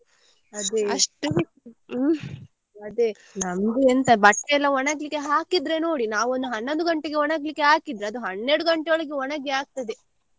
ಅದೇ ಅದೇ ನಮಗೆಂತ ಬಟ್ಟೆ ಎಲ್ಲ ಒಣಗಲಿಕ್ಕೇ ಹಾಕಿದ್ರೆ ನೋಡಿ ನಾವು ಒಂದು ಹನ್ನೊಂದು ಗಂಟೆಗೆ ಒಣಗ್ಲಿಕ್ಕೆ ಹಾಕಿದ್ರೆ ಅದು ಹನ್ನೆರಡು ಗಂಟೆ ಒಳಗೆ ಒಣಗಿ ಆಗ್ತದೆ.